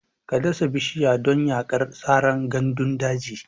Ka dasa bishiya don yaƙar saran gandun daji!